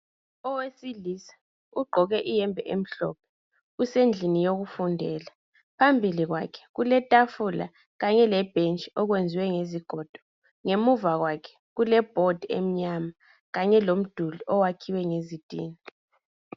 Owesilisa ugqoke iyembe emhlophe usendlin yokufundela, phambili kwakhe kuletafula kanye lebhentshi okwenziwe ngezigodo. Ngemuva kwakhe kulebhodi emnyama kanye lomduli owakhiwe ngezitina.